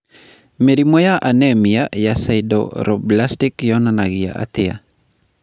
Mĩrimũ ya anemia ya sideroblastic yonanagia atĩa?